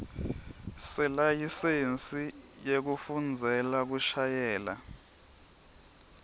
selayisensi yekufundzela kushayela